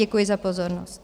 Děkuji za pozornost.